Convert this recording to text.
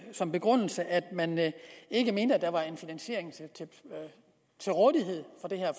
som begrundelse at man ikke mente at der var finansiering til rådighed